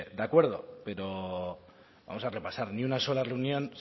de acuerdo pero vamos a repasar ni una sola reunión